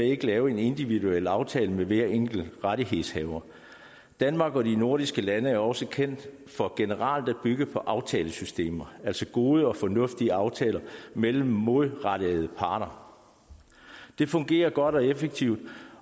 ikke lave en individuel aftale med hver enkelt rettighedshaver danmark og de andre nordiske lande er også kendt for generelt at bygge på aftalesystemer altså gode og fornuftige aftaler mellem målrettede parter det fungerer godt og effektivt